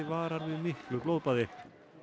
varar við miklu blóðbaði